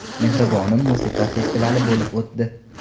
mehribonim” musiqa festivali bo‘lib o‘tdi.